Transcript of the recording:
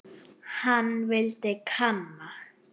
Hann vildi kanna.